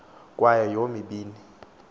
kwayo yomi bini